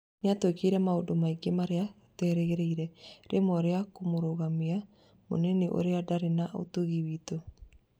Nĩatwĩkĩte maũndũ maingĩ marĩa tũtarerĩgĩrĩire rĩmwe rĩa kũmũrũgamia mũini ũrĩa ndarĩ na ũtugi witũ